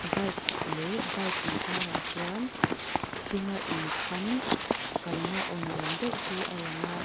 bike leh bike inkarah chuan thinga inkham kalna aw ni awm deuh hi a lang a--